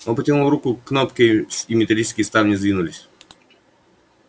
он потянул руку к кнопке с и металлические ставни сдвинулись